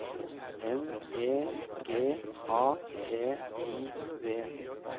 N E G A T I V